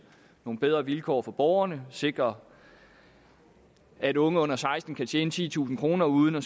nogle bedre vilkår for borgerne og sikrer at unge under seksten år kan tjene titusind kroner uden at